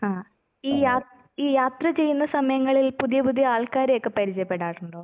ഹാ ഈ യാത് ഈ യാത്ര ചെയ്യുന്ന സമയങ്ങളിൽ പുതിയ പുതിയ ആൾക്കാരെയൊക്കെ പരിചയപ്പെടാറുണ്ടോ?